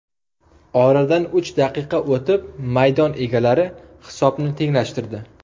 Oradan uch daqiqa o‘tib maydon egalari hisobni tenglashtirdi.